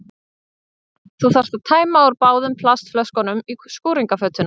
Þú þarft að tæma úr báðum plastflöskunum í skúringafötuna.